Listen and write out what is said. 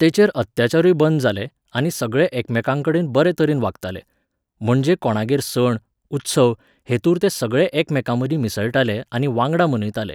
तेचेर अत्याचारूय बंद जाले आनी सगळे एकामेकांकडेन बरे तरेन वागताले. म्हणजे कोणागेर सण, उत्सव हेतूंर ते सगळे एकमेकांमदीं मिसळटाले आनी वांगडा मनयताले.